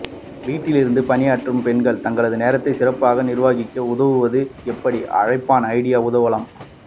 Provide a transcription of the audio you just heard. வீட்டிலிருந்து பணியாற்றும் பெண்கள் தங்கள் நேரத்தை சிறப்பாக நிர்வகிக்க உதவுவது எப்படி அழைப்பான் ஐடி உதவலாம்